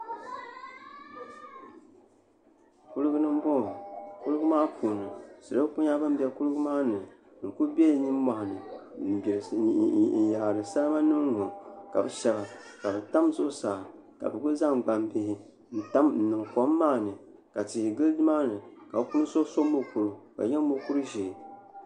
Kuliga n boŋo kuligi maa puuni salo ku nyɛla bin bɛ kuligi maa ni n ku bɛ nimmohi ni n yaari salima nim ŋo ka bi shab tam zuɣusaa ka bi ku zaŋ gbambihi n tam n niŋ kom maa ni ka tihi gili nimaani ka bi puuni so so mokuru ka di nyɛ mokuru ʒiɛ